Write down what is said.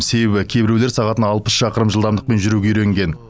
себебі кейбіреулер сағатына алпыс шақырым жылдамдықпен жүруге үйренген